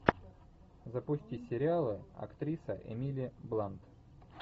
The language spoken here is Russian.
запусти сериалы актриса эмили блант